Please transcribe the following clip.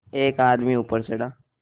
एक आदमी ऊपर चढ़ा